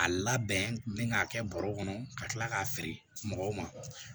A labɛn k'a kɛ bɔrɔw kɔnɔ ka kila k'a feere mɔgɔw ma